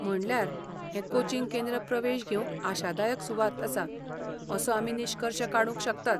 म्हणल्यार, हें कोचिंग केंद्र प्रवेश घेवंक आशादायक सुवात आसा असो आमी निश्कर्श काडूंक शकतात.